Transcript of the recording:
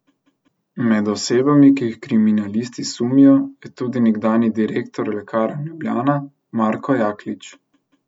Med osebami, ki jih kriminalisti sumijo, je tudi nekdanji direktor Lekarn Ljubljana Marko Jaklič.